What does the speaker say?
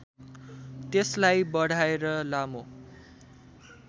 त्यसलाई बढाएर लामो